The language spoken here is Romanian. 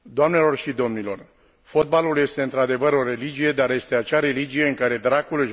Fotbalul este într adevăr o religie, dar este acea religie în care dracul își bagă cel mai des coada.